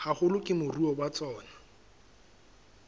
haholo ke moruo wa tsona